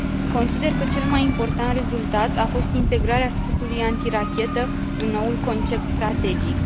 Consider că cel mai important rezultat a fost integrarea scutului antirachetă în noul concept strategic.